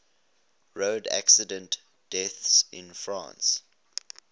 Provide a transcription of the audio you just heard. road accident deaths in france